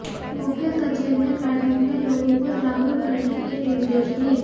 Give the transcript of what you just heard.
मुख्य सचिव ने बैठक में लोगों को जागरूक करने के निर्देश दिए